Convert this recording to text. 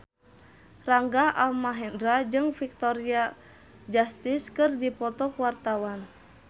Rangga Almahendra jeung Victoria Justice keur dipoto ku wartawan